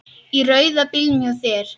Í rauða bílnum hjá þér.